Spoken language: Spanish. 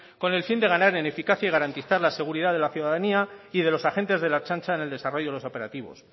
con el fin de ganar en eficacia y garantizar la seguridad de la ciudadanía y de los agentes de la ertzaintza en el desarrollo de los operativos